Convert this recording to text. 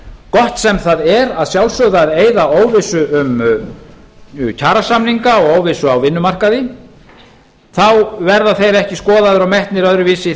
gott sem það er að sjálfsögðu að eyða óvissu um kjarasamninga og óvissu á vinnumarkaði þá verða þeir ekki skoðaðir og metnir öðruvísi